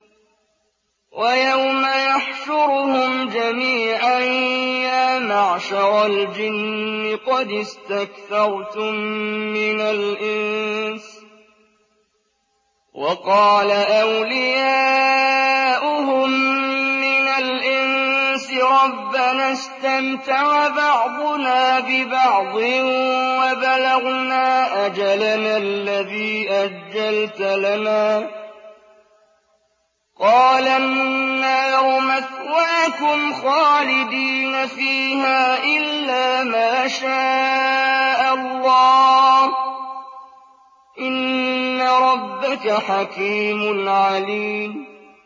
وَيَوْمَ يَحْشُرُهُمْ جَمِيعًا يَا مَعْشَرَ الْجِنِّ قَدِ اسْتَكْثَرْتُم مِّنَ الْإِنسِ ۖ وَقَالَ أَوْلِيَاؤُهُم مِّنَ الْإِنسِ رَبَّنَا اسْتَمْتَعَ بَعْضُنَا بِبَعْضٍ وَبَلَغْنَا أَجَلَنَا الَّذِي أَجَّلْتَ لَنَا ۚ قَالَ النَّارُ مَثْوَاكُمْ خَالِدِينَ فِيهَا إِلَّا مَا شَاءَ اللَّهُ ۗ إِنَّ رَبَّكَ حَكِيمٌ عَلِيمٌ